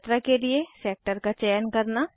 यात्रा के लिए सेक्टर का चयन करना